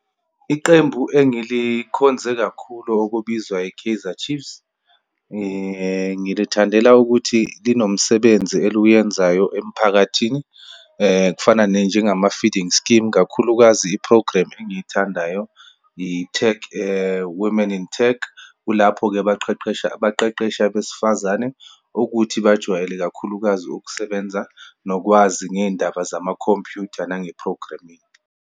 Iqembu engilikhonze kakhulu okubizwa i-Kaizer Chiefs. Ngilithandela ukuthi linomsebenzi eliwuyenzayo emphakathini, kufana ne njengama-feeding scheme, kakhulukazi iprogremu engiyithandayo, i-tech, women in tech. Kulapho-ke baqeqesha, abaqeqesha abesifazane ukuthi bajwayele, ikakhulukazi ukusebenza, nokwazi ngeyindaba zamakhompyutha nange-programming.